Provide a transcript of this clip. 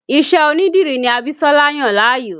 Ìṣe onídìrí ní Abisola yàn láàyò